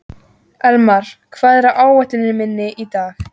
Elmar, hvað er á áætluninni minni í dag?